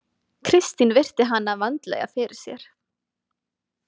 Kristín virti hana vandlega fyrir sér.